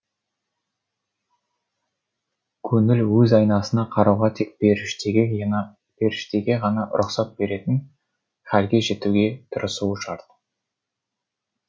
көңіл өз айнасына қарауға тек періштеге ғана рұқсат беретін хәлге жетуге тырысуы шарт